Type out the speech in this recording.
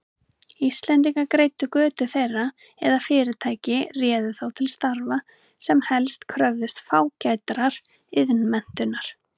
Íslendingar greiddu götu þeirra eða fyrirtæki réðu þá til starfa, sem helst kröfðust fágætrar iðnmenntunar.